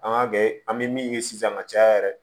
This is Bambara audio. An k'a kɛ an bɛ min ye sisan ka caya yɛrɛ